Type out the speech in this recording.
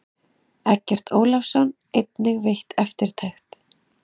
Eggert Ólafsson einnig veitt eftirtekt.